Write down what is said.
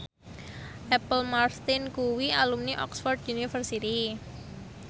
Apple Martin kuwi alumni Oxford university